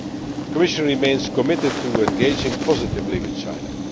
The Commission remains committed to engaging positively with China.